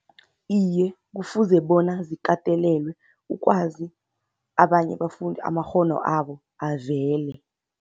Iye, kufuze bona zikatelelwe ukwazi abanye abafundi amakghono abo avele.